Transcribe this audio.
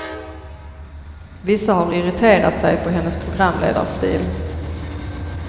Vissa har irriterat sig på hennes programledarstil.